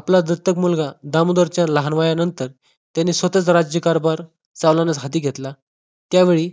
आपला दत्तक मुलगा दामोदर चे लहान वयानंतर त्यांनी स्वतःच्या राज्यकारभार चालवण्यासाठी घेतला त्यावेळी